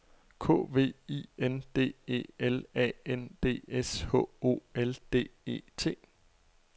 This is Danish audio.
K V I N D E L A N D S H O L D E T